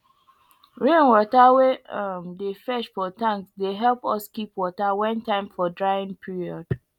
rainwater wey um dey fetch for tanks dey help us keep water when time for drying period